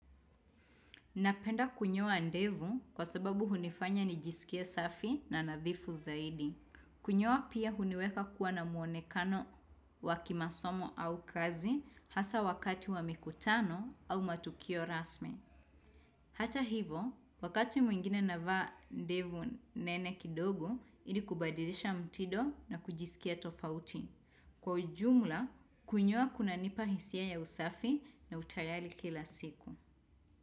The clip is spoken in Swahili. Napenda kunyoa ndevu kwa sababu hunifanya nijisikie safi na nadhifu zaidi. Kunyoa pia huniweka kuwa na muonekano wakimasomo au kazi hasa wakati wa mikutano au matukio rasmi. Hata hivo, wakati mwingine navaa ndevu nene kidogo, ili kubadilisha mtindo na kujisikia tofauti. Kwa ujumla, kunyoa kuna nipa hisia ya usafi na utayali kila siku.